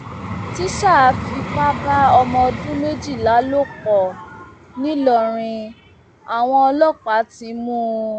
tísá fipá bá ọmọ ọdún méjìlá lò pọ nìlọrin àwọn ọlọpàá ti mú un